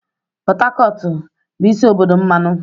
Pot Tacotu bụ isi obodo mmanụ.